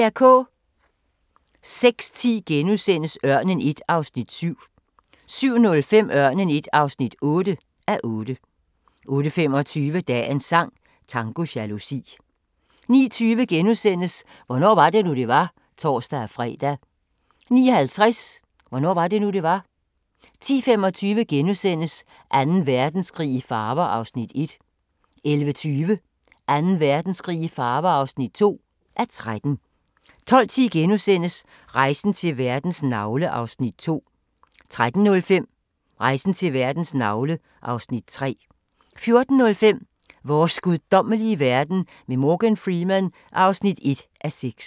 06:10: Ørnen I (7:8)* 07:05: Ørnen I (8:8)* 08:25: Dagens sang: Tango jalousi 09:20: Hvornår var det nu det var *(tor-fre) 09:50: Hvornår var det nu det var 10:25: Anden Verdenskrig i farver (1:13)* 11:20: Anden Verdenskrig i farver (2:13) 12:10: Rejsen til verdens navle (Afs. 2)* 13:05: Rejsen til verdens navle (Afs. 3) 14:05: Vores guddommelige verden med Morgan Freeman (1:6)